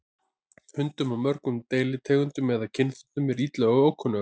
Hundum af mörgum deilitegundum eða kynþáttum er illa við ókunnuga.